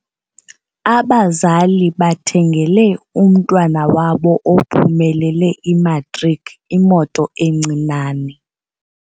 Abazali bathengele umntwana wabo ophumelele imatriki imoto encinane.